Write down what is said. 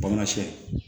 Bamasiyɛn